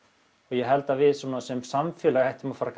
ég held að við sem samfélag ættum að fara